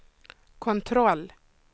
kontroll